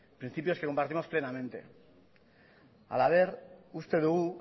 principios que compartimos plenamente halaber uste dugu